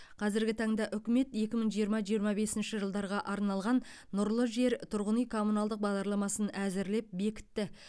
қазіргі таңда үкімет екі мың жиырма жиырма бесінші жылдарға арналған нұрлы жер тұрғын үй коммуналдық бағдарламасын әзірлеп бекітті